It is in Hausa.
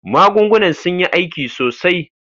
Magungunan sun yi aiki sosai.